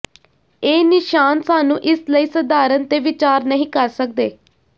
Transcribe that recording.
ਇਹ ਨਿਸ਼ਾਨ ਸਾਨੂੰ ਇਸ ਲਈ ਸਧਾਰਨ ਤੇ ਵਿਚਾਰ ਨਹੀ ਕਰ ਸਕਦੇ